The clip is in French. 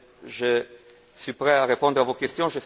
Je suis prêt à répondre à vos questions.